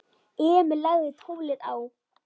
Emil lagði tólið á.